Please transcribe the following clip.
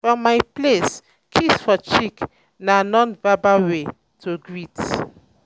for many places kiss for cheek na um non verbal way um to um greet